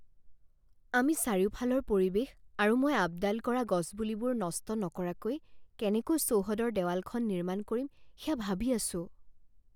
আমি চাৰিওফালৰ পৰিৱেশ আৰু মই আপডাল কৰা গছপুলিবোৰ নষ্ট নকৰাকৈ কেনেকৈ চৌহদৰ দেৱালখন নিৰ্মাণ কৰিম সেয়া ভাবি আছোঁ।